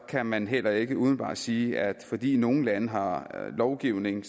kan man heller ikke umiddelbart sige at fordi nogle lande har lovgivning